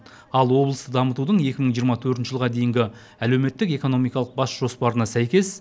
ал облысты дамытудың екі мың жиырма төртінші жылға дейінгі әлеуметтік экономикалық бас жоспарына сәйкес